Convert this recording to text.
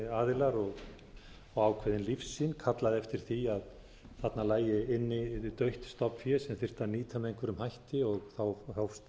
ákveðnir aðilar og ákveðin lífssýn kallaði eftir því að þarna lægi inni dautt stofnfé sem þyrfti að nýta með einhverjum hætti hófst